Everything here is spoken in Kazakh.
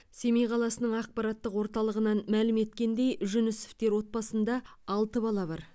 семей қаласының ақпараттық орталығынан мәлім еткендей жүнісовтар отбасында алты бала бар